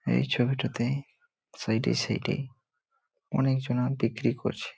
এই ছবিটাতে সাইড -এ সাইড -এ অনেক জনা বিক্রি করছে।